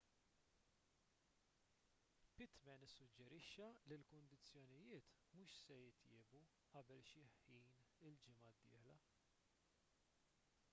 pittman issuġġerixxa li l-kundizzjonijiet mhux se jitjiebu qabel xi ħin il-ġimgħa d-dieħla